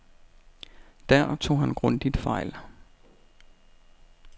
Der tog han grundigt fejl.